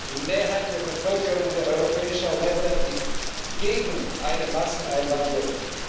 Die Mehrheit der Bevölkerung der europäischen Länder ist gegen eine Masseneinwanderung.